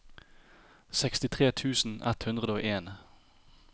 sekstitre tusen ett hundre og en